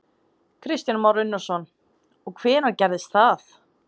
Kristján Már Unnarsson: Og hvenær gerist það?